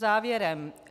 Závěrem.